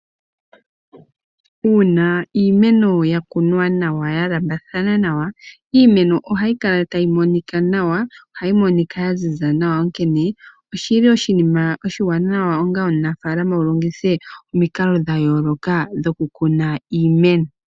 Uuna iimeno ya kunwa nawa ya lamba thana nawa iimeno ohayi kala tayi monkika nawa ohayi monika ya ziza nawa onkene oshili oshinima oshiwanawa onga omunafalama wu longithe omikalo dha yooloka dhoku kuna iimeno.